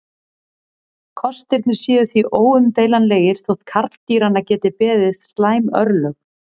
Kostirnir séu því óumdeilanlegir þótt karldýranna geti beði slæm örlög.